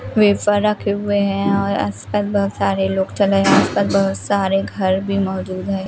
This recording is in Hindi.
वेफर रखे हुए हैं और आसपास बहुत सारे लोग चले हैं आसपास बहुत सारे घर भी मौजूद हैं।